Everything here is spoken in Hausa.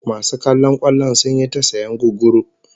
Masu kallon kwallon sun yi ta sayan gugguru